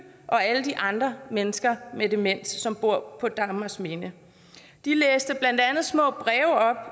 og alle de andre mennesker med demens som bor på dagmarsminde de læste blandt andet små